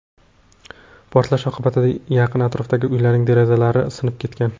Portlash oqibatida yaqin-atrofdagi uylarning derazalari sinib ketgan.